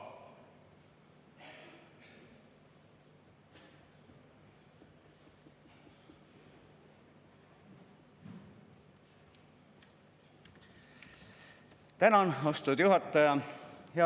Tänan, austatud juhataja!